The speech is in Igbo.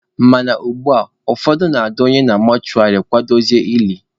Mana ugbua, ụfọdụ na-adọnye na mọshụwarị, akwadotezie elie.